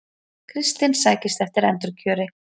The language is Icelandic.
Kristinn sækist eftir endurkjöri